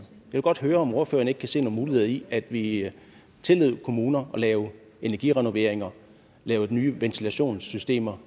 vil godt høre om ordføreren ikke kan se nogle muligheder i at vi tillod kommuner at lave energirenoveringer lave nye ventilationssystemer